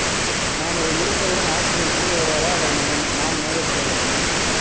நாம் இதை முடித்தவுடன், ஆசிரியை கீழே வருவாரா அல்லது நாம நாம் மேலே செல்ல வேண்டுமா